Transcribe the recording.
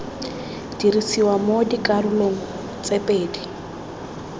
dirisiwa mo dikarolong tse pedi